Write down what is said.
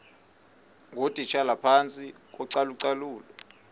ngootitshala phantsi kocalucalulo